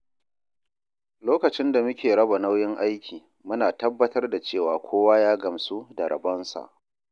Lokacin da muke raba nauyin aiki, muna tabbatar da cewa kowa ya gamsu da rabonsa.